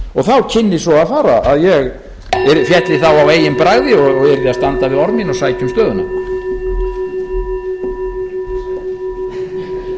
og þá kynni svo að fara að ég félli þá á eigin bragði og yrði að standa við orð mín og sækja um stöðuna